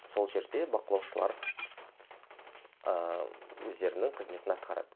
сол жерде бақылаушылар ыыы өздерінің қызметін атқарады